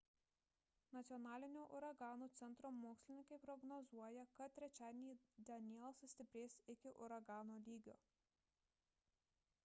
nacionalinio uraganų centro mokslininkai prognozuoja kad trečiadienį danielle sustiprės iki uragano lygio